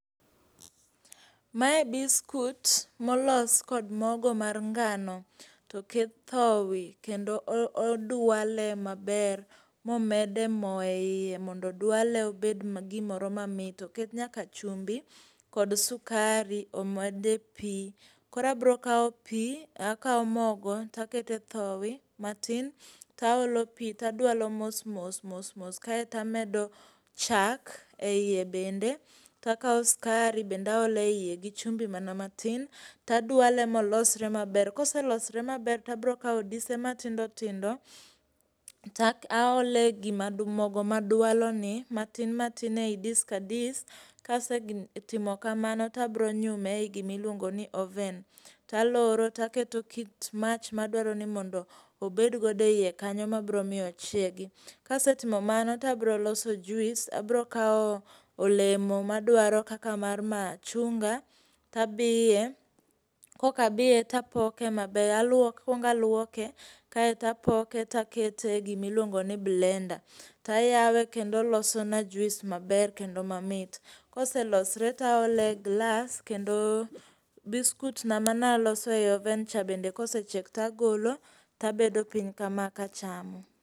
Mae biskut molos kod mogo mar ngano, to oket thowi kendo odwale maber momed e mo e iye mondo dwale obed ma gimoro mamit, oket nyaka chumbi kod sukari omed e pi. Kora abro kao pi, akao mogo, taket e thowi matin taolo pi to dwalo mos, mos, mos, mos kaeto amedo chak e iye bende, takao sukari bende aolo e iye gi chumbi mana matin, tadwale molosre maber. Kose losore maber abiro kawo dise matindo tindo, tak aole gi mogo madwalo ni matin matin ei dis ka dis, kase timo kamano abiro nyume ei gima iluongo ni oven to aloro, taketo kit mach madwaro ni mondo obed gode iye kanyo mabiromiyo ochiegi. Kase timo mano abiro loso juice abiro kawo olemo madwaro kaka mar machunga tabiye, kok abiye tapoke maber alwok, akong' alwoke kaeta poke takete gi miluongo ni blender, tayawe kendo loso na juice maber kendo mamit. Kose losore taole glass kendo biskut na mana loso e oven cha bende kose chieck tagolo tabedo piny kama ka achamo.